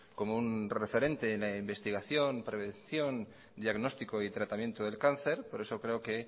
como un referente en la investigación prevención diagnóstico y tratamiento del cáncer por eso creo que